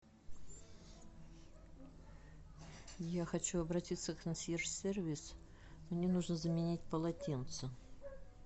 я хочу обратиться в консьерж сервис мне нужно заменить полотенце